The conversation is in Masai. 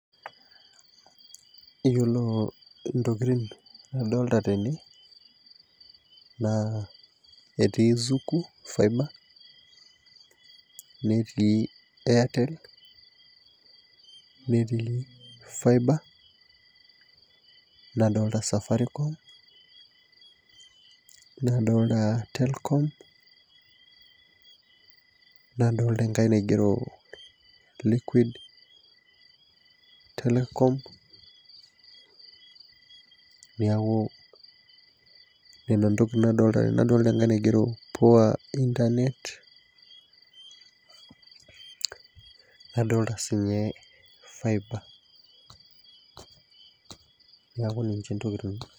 Iyiolo ntokitin nadolita tene naa etii zuku fiber, netii Airtel, netii faiba. nadolta safaricom. nadolta telkom. ore enkae naigero , liquid, telecom, neeku Nena entoki naigero tene .nadolita enkae naigero poor internet .nadolita sii ninye fiber neeku ninche ntokitin.